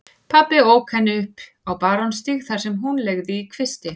Pabbi ók henni upp á Barónsstíg þar sem hún leigði í kvisti.